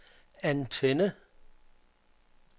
antenne